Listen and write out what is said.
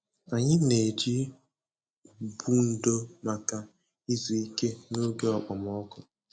Anyị na-eji ụgbụ ndò maka izu ike n'oge okpomọkụ.